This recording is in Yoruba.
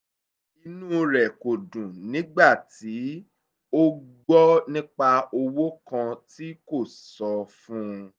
inú rẹ̀ kò dùn nígbà tí ó gbọ́ nípa owó kan tí kò sọ fún un